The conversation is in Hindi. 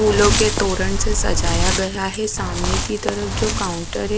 फूलों के तोरण से सजाया गया है सामने की तरफ जो काउंटर है।